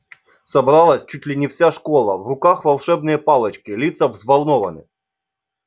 собралась чуть ли не вся школа в руках волшебные палочки лица взволнованны